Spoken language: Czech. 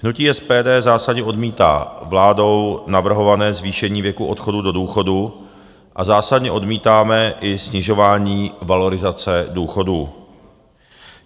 Hnutí SPD zásadně odmítá vládou navrhované zvýšení věku odchodu do důchodu a zásadně odmítáme i snižování valorizace důchodů.